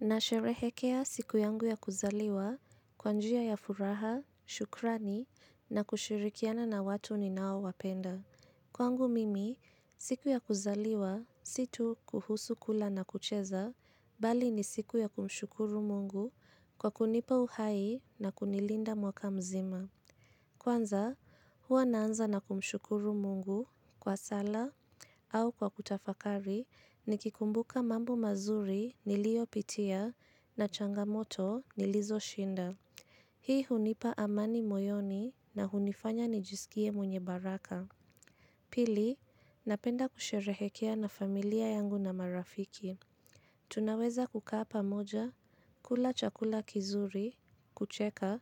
Nasherehekea siku yangu ya kuzaliwa kwa njia ya furaha, shukurani na kushirikiana na watu ninaowapenda. Kwangu mimi, siku ya kuzaliwa si tu kuhusu kula na kucheza, bali ni siku ya kumshukuru mungu kwa kunipa uhai na kunilinda mwaka mzima. Kwanza, huwa naanza na kumshukuru mungu kwa sala au kwa kutafakari nikikumbuka mambo mazuri niliyopitia na changamoto nilizoshinda. Hii hunipa amani moyoni na hunifanya nijisikie mwenye baraka. Pili, napenda kusherehekea na familia yangu na marafiki. Tunaweza kukaa pamoja, kula chakula kizuri, kucheka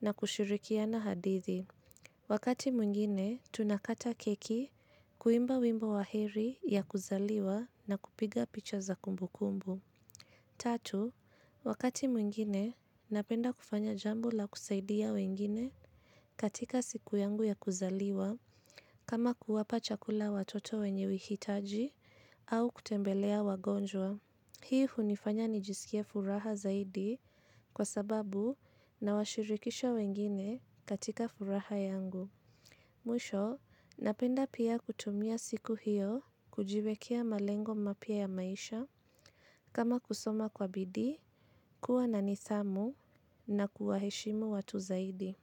na kushirikiana hadithi. Wakati mwingine, tunakata keki kuimba wimbo wa heri ya kuzaliwa na kupiga picha za kumbukumbu. Tatu, wakati mwingine, napenda kufanya jambo la kusaidia wengine katika siku yangu ya kuzaliwa kama kuwapa chakula watoto wenye uhitaji au kutembelea wagonjwa. Hii hunifanya nijisikie furaha zaidi kwa sababu nawashirikisha wengine katika furaha yangu. Mwisho, napenda pia kutumia siku hiyo kujiwekea malengo mapya ya maisha, kama kusoma kwa bidii, kuwa na nidhamu na kuwaheshimu watu zaidi.